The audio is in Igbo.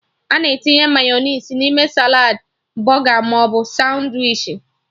Ana etinye mayọnais n'ime saladị, bọga maọbụ sandwichi